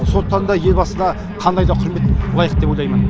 сондықтан да елбасына қандай да құрмет лайық деп ойлаймын